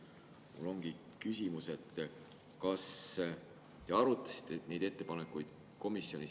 Mul ongi küsimus, et kas te arutasite neid ettepanekuid komisjonis.